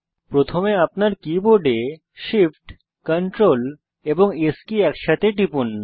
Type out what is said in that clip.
প্রথমে আপনার কীবোর্ডে Shift Ctrl এবং S কী একসাথে টিপুন